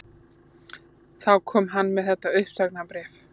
Þá kom hann með þetta uppsagnarbréf